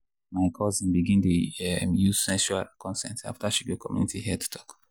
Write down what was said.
my cousin begin dey um use sexual consent after she go community health talk.